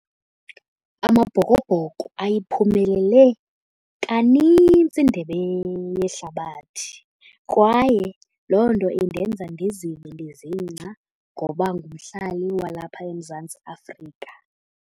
Amabhokobhoko ayiphumelele kanintsi iNdebe yeHlabathi kwaye loo nto indenza ndizive ndizingca ngoba ngumhlali walapha eMzantsi Afrika.